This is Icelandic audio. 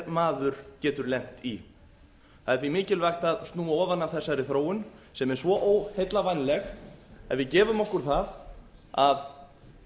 maður getur lent í það er því mikilvægt að snúa ofan af þessari þróun sem er svo óheillavænleg að við gefum okkur það að